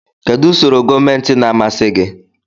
Kedu usoro gọọmentị na-amasị gị?